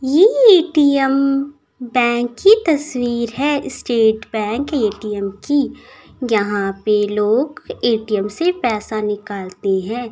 ये ATM bank की तस्वीर है स्टेट बैंक ए_टी_एम कीयहा पे लोग ए_टी_एम से पैसा निकालते है।